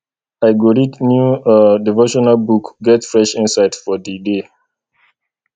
i go read new um devotional book get fresh insight for di day